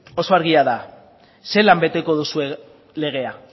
oso argi da zelan beteko duzue legea